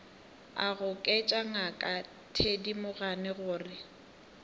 a goketša ngaka thedimogane gore